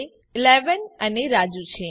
તે 11 અને રાજુ છે